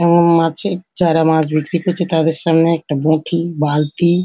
এবং মাছের চারা যারা মাছ বিক্রি করছে তাদের সামনে একটি বটি বালতি ।